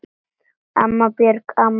Amma, Björg amma.